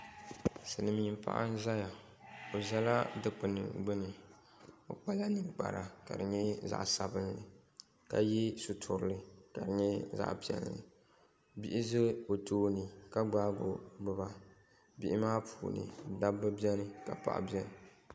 Silimiin’paɣa n-zaya o zala dukpuni gbuni o kpala ninkpara ka di nyɛ zaɣ’sabinli ka ye sitirili ka di nyɛ zaɣ’piɛlli bihi za o tooni ka gbaai o gbuba bihi maa puuni dabba beni ka paɣa beni